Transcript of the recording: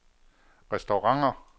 restauranter